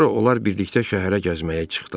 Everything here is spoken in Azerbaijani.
Sonra onlar birlikdə şəhərə gəzməyə çıxdılar.